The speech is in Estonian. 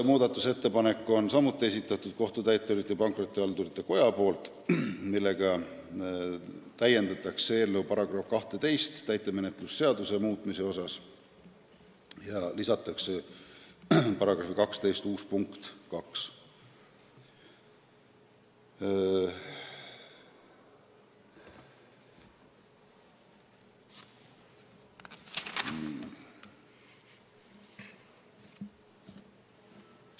Muudatusettepanekuga nr 7 soovitakse täiendada eelnõu § 12, mis käsitleb täitemenetluse seadustiku muutmist, lisades sinna uue punkti 2.